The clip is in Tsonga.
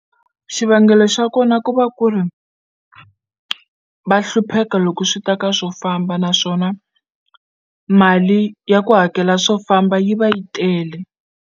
Xivangelo xa kona ku va ku ri va hlupheka loko swi ta ka swo famba naswona mali ya ku hakela swo famba yi va yi tele.